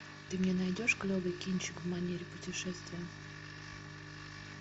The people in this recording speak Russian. ты мне найдешь клевый кинчик в манере путешествия